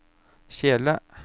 kjele